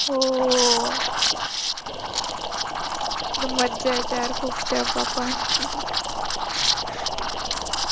हो मज्जा येते यार खूप तेव्हापण